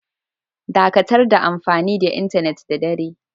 Dakatar da amfani da intenet da dare!